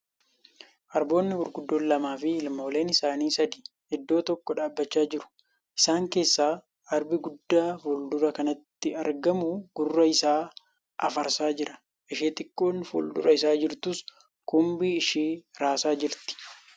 Arboonni gurguddoon lamaa fi ilmooleen isaanii sadi iddoo tokko dhaabbachaa jiru. Isaan keessa arbi guddaa fuuldura kanatti argamu gurra isaa afarsaa jira. Ishee xiqqoon fuuldura isaa jirtus kumbii ishee raasaa jirti.